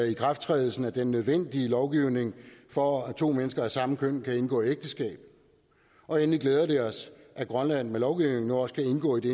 ikrafttrædelsen af den nødvendige lovgivning for at to mennesker af samme køn kan indgå ægteskab og endelig glæder det os at grønland med lovgivningen nu også kan indgå i det